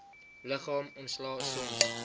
liggaam ontslae soms